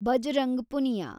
Bajrang Punia